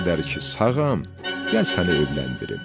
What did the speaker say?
Nə qədər ki sağam, gəl səni evləndirim.